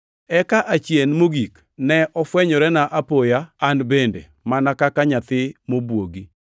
eka achien mogik, ne ofwenyorena apoya an bende, mana ka nyathi mobwogi.